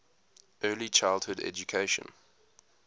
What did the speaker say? early childhood education